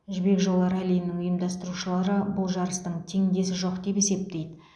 жібек жолы раллиінің ұйымдастырушылары бұл жарыстың теңдесі жоқ деп есептейді